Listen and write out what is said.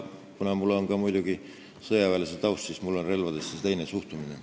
Kuna mul on muidugi sõjaväelase taust, siis mul on relvadesse teine suhtumine.